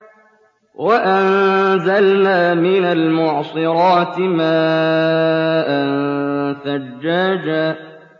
وَأَنزَلْنَا مِنَ الْمُعْصِرَاتِ مَاءً ثَجَّاجًا